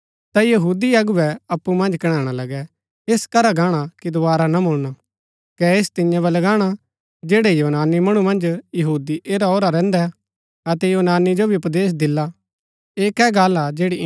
ता यहूदी अगुवै अप्पु मन्ज कणैणा लगै ऐस करा गाणा कि दोवारा ना मूळला कै ऐस तियां वलै गाणा जैड़ै यूनानी मणु मन्ज यहूदी ऐरा औरा रैहन्दै अतै यूनानी जो भी उपदेश दिला